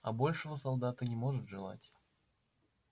а большего солдат и не может желать